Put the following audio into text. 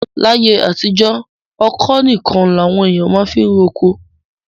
Láyé àtijọ́, ọ̀kọ́ nìkan làwọn èèyàn máa fiń roko.